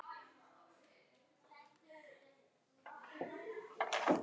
Fólk er bara í áfalli.